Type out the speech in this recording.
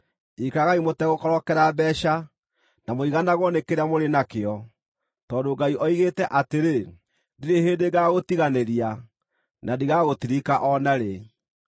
Ikaragai mũtegũkorokera mbeeca, na mũiganagwo nĩ kĩrĩa mũrĩ nakĩo, tondũ Ngai oigĩte atĩrĩ, “Ndirĩ hĩndĩ ngaagũtiganĩria; na ndigagũtirika o narĩ.”